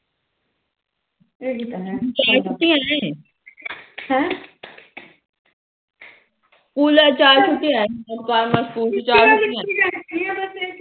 ਕੁਲ ਚਾਰ ਛੁਟੀਆਂ